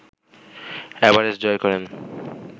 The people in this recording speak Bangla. এভারেস্ট জয় করেন